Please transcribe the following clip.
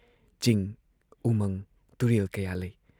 ꯆꯤꯡ, ꯎꯃꯪ ꯇꯨꯔꯦꯜ ꯀꯌꯥ ꯂꯩ ꯫